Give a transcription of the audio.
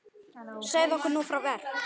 Segðu okkur nú frá verk